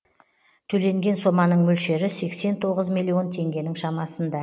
төленген соманың мөлшері сексен тоғыз миллион теңгенің шамасында